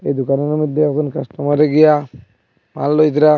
এ দোকানের মইধ্যে এখন কাস্টমার রেগীয়া মাল লইদরা--